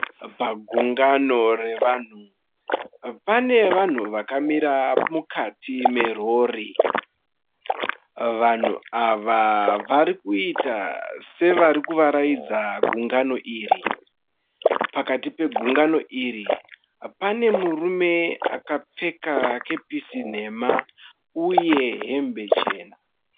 Pagungano revanhu, pane vanhu vakamira mukati merori, vanhu ava varikuita sevarikuvaraidza gungano iri, pakati pegungano iri pane murume akapfeka kepisi nhema uye hembe chena.